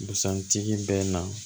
Busan tigi bɛ na